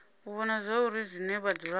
u vhona zwauri zwine vhadzulapo